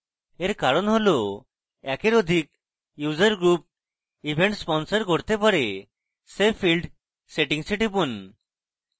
এর কারণ হল একের অধিক user group event sponsor করতে পারে save field settings এ টিপুন